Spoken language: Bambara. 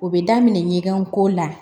O bɛ daminɛ ɲɛgɛn ko la